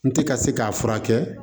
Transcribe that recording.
N tɛ ka se k'a furakɛ